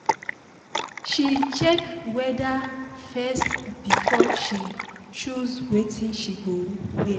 she check weather first before she choose wetin she go wear